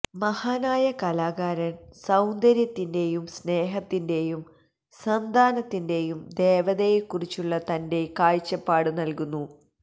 മഹാനായ കലാകാരൻ സൌന്ദര്യത്തിന്റെയും സ്നേഹത്തിന്റെയും സന്താനത്തിന്റെയും ദേവതയെക്കുറിച്ചുള്ള തന്റെ കാഴ്ചപ്പാട് നൽകുന്നു